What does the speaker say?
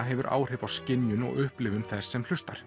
hefur áhrif á skynjun og upplifun þess sem hlustar